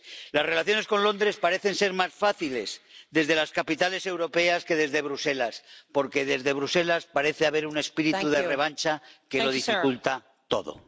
Las relaciones con Londres parecen ser más fáciles desde las capitales europeas que desde Bruselas, porque desde Bruselas parece haber un espíritu de revancha que lo dificulta todo.